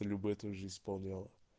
любэ тоже исполняла